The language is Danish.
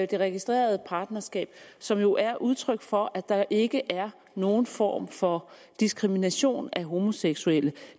det registrerede partnerskab som jo er udtryk for at der ikke er nogen form for diskrimination af homoseksuelle